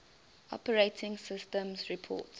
operating systems report